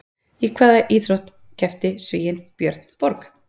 Í hvaða íþrótt keppti Svíinn Björn Borg?